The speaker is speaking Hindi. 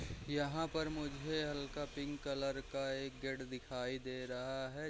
यहाँ पर मुझे हल्का पिंक कलर का एक गेट दिखाई दे रहा है।